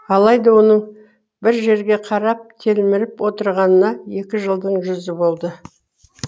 алайда оның бір жерге қарап телміріп отырғанына екі жылдың жүзі болды